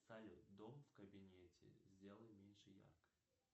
салют дом в кабинете сделай меньше яркость